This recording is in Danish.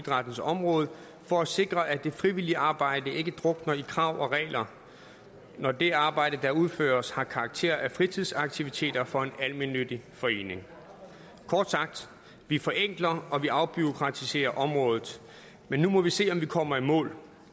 idrættens område for at sikre at det frivillige arbejde ikke drukner i krav og regler når det arbejde der udføres har karakter af fritidsaktiviteter for en almennyttig forening kort sagt vi forenkler og vi afbureaukratiserer området men nu må vi se om vi kommer i mål